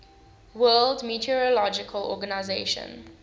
world meteorological organization